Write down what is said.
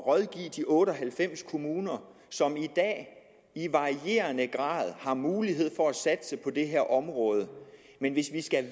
rådgive de otte og halvfems kommuner som i dag i varierende grad har mulighed for at satse på det her område men hvis vi skal